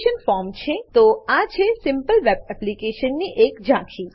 તો આ છે આ simple web application simple web application ની એક ઝાંખી